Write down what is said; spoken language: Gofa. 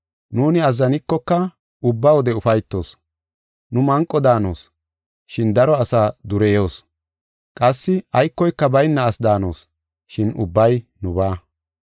Nuuni azzanikoka ubba wode ufaytoos. Nu manqo daanos, shin daro asaa dureyoos. Qassi aykoyka bayna asi daanos, shin ubbay nubaa.